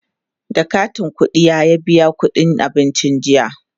da katin ƙuɗiya biya ƙuɗin abincin jiya